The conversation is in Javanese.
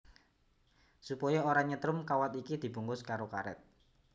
Supaya ora nyetrum kawat iki dibungkus karo karét